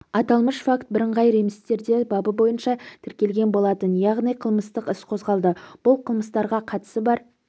аталмыш факт бірыңғай реестрде бабы бойынша тіркелген болатын яғни қылмыстық іс қозғалды бұл қылмыстарға қатысы бар